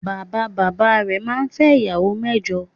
Bàbá bàbá rẹ̀ naa fẹ́ ìyàwó mẹ́jọ